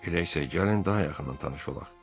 Elə isə gəlin daha yaxından tanış olaq.